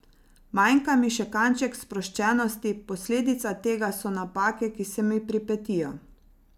Manjka mi še kanček sproščenosti, posledica tega so napake, ki se mi pripetijo.